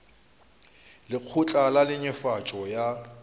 le lekgotla la netefatšo ya